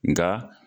Nga